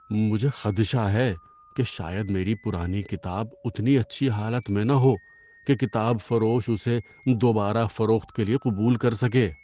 ‏مجھے خدشہ ہے کہ شاید میری پرانی کتاب اتنی اچھی حالت میں نہ ہو کہ کتاب فروش اسے دوبارہ فروخت کے لیے قبول کر سکے۔